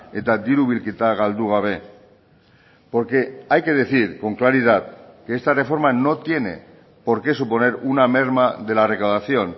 eta diru bilketa galdu gabe porque hay que decir con claridad que esta reforma no tiene por qué suponer una merma de la recaudación